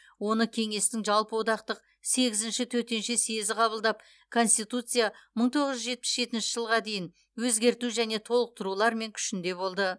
оны кеңестің жалпыодақтық сегізінші төтенше съезі қабылдап конституция мың тоғыз жүз жетпіс жетінші жылға дейін өзгерту және толықтыруларымен күшінде болды